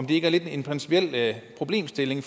det ikke lidt en principiel problemstilling